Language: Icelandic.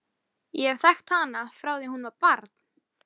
Ég hef þekkt hana frá því að hún var barn.